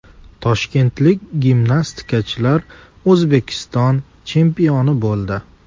Toshkentlik gimnastikachilar O‘zbekiston chempioni bo‘ldi.